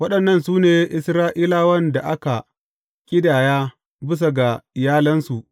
Waɗannan su ne Isra’ilawan da aka a ƙidaya bisa ga iyalansu.